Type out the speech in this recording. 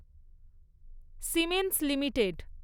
siemens limited